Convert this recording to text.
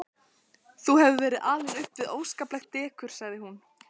Þú hefur verið alinn upp við óskaplegt dekur sagði hún.